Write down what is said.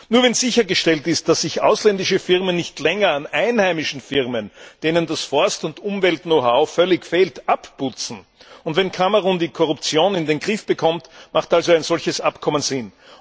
Nur wenn sichergestellt ist, dass sich ausländische Firmen nicht länger an einheimischen Firmen, denen das Forst und Umwelt Know how völlig fehlt, abputzen, und wenn Kamerun die Korruption in den Griff bekommt, hat ein solches Abkommen Sinn.